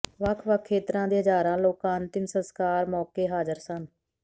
ਵੱਖ ਵੱਖ ਖੇਤਰਾਂ ਦੇ ਹਜ਼ਾਰਾਂ ਲੋਕਾਂ ਅੰਤਿਮ ਸਸਕਾਰ ਮੌਕੇ ਹਾਜ਼ਰ ਸਨ